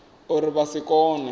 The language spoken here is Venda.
uri vha nga si kone